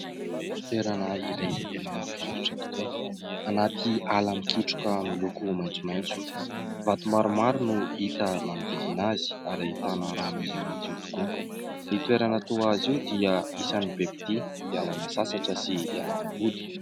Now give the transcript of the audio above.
Toerana iray izay tena mahafinaritra tokoa anaty ala mikitroka miloko maitsomaitso. Vato maromaro no hita manodidina azy ary ahitana rano izay matio tokoa. Ny toerana toa azy io dia isany be mpitia hialana sasatra sy hialana voly.